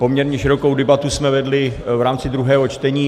Poměrně širokou debatu jsme vedli v rámci druhého čtení.